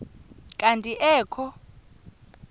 kanti ee kho